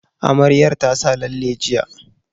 Amaryar ta sa lalle jiya